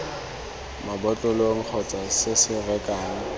mabotlolong kgotsa se se rekang